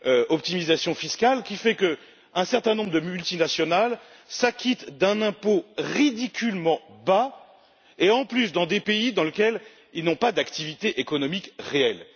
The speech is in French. l'optimisation fiscale, qui font qu'un certain nombre de multinationales s'acquittent d'un impôt ridiculement bas et, en plus, dans des pays dans lesquels elles n'ont pas d'activité économique réelle.